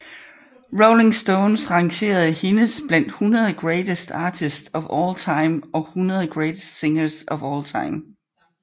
Rolling Stone rangerede hendes blandt 100 Greatest Artists of All Time og 100 Greatest Singers of All Time